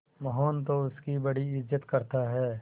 मोहन तो उसकी बड़ी इज्जत करता है